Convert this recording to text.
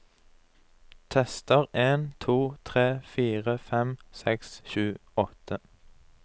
Tester en to tre fire fem seks sju åtte